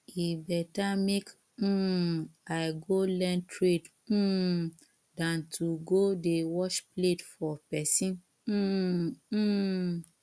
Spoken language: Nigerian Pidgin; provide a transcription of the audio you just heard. e better make um i go learn trade um dan to go dey wash plate for person um um